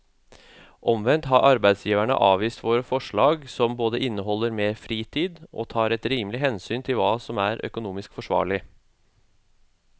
Omvendt har arbeidsgiverne avvist våre forslag som både inneholder mer fritid og tar et rimelig hensyn til hva som er økonomisk forsvarlig.